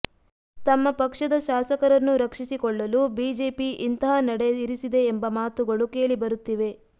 ತಮ್ಮ ಪಕ್ಷದ ಶಾಸಕರನ್ನು ರಕ್ಷಿಸಿಕೊಳ್ಳಲು ಬಿಜೆಪಿ ಇಂತಹ ನಡೆ ಇರಿಸಿದೆ ಎಂಬ ಮಾತುಗಳೂ ಕೇಳಿ ಬರುತ್ತಿವೆ